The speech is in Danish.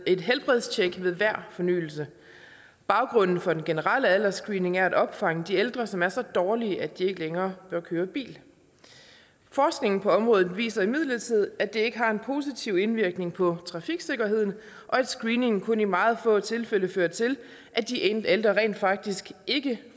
et helbredstjek ved hver fornyelse baggrunden for den generelle aldersscreening er at opfange de ældre som er så dårlige at de ikke længere bør køre bil forskningen på området viser imidlertid at det ikke har en positiv indvirkning på trafiksikkerheden og at screeningen kun i meget få tilfælde fører til at de ældre rent faktisk ikke